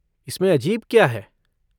इसमें अजीब क्या है?